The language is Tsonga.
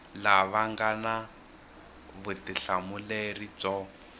lava nga na vutihlamuleri byo